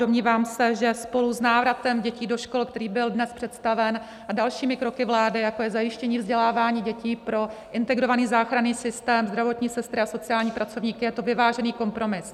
Domnívám se, že spolu s návratem dětí do škol, který byl dnes představen, a dalšími kroky vlády, jako je zajištění vzdělávání dětí pro Integrovaný záchranný systém, zdravotní sestry a sociální pracovníky, je to vyvážený kompromis.